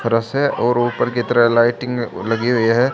हरा से और ऊपर की तरह लाइटिंग लगी हुई है।